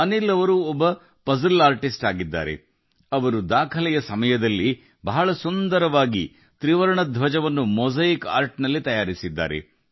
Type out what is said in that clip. ಅನಿಲ್ ಜೀ ಅವರು ಒಗಟು ಕಲಾವಿದರಾಗಿದ್ದು ದಾಖಲೆ ಸಮಯದಲ್ಲಿ ಸುಂದರವಾದ ತ್ರಿವರ್ಣ ಮೊಸಾಯಿಕ್ ಕಲೆಯನ್ನು ರಚಿಸಿದ್ದಾರೆ